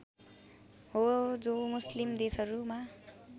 हो जो मुस्लिम देशहरूमा